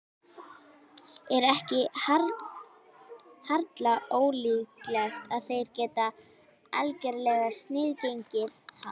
Er ekki harla ólíklegt að þeir geti algerlega sniðgengið hann?